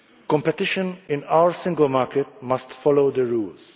Competition in our single market must follow the rules.